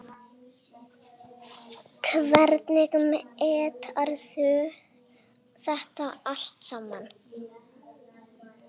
Hvernig meturðu þetta allt saman?